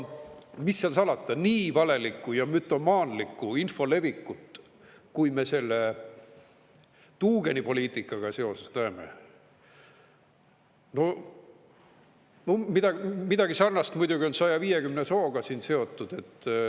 Mis seal salata, nii valelikku ja mütomaanlikku info levikut, kui me selle tuugenipoliitikaga seoses näeme – midagi sarnast muidugi on 150 sooga seotud.